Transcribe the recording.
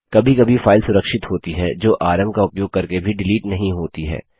कभी कभी फाइल सुरक्षित होती हैं जो आरएम का उपयोग करके भी डिलीट नहीं होती हैं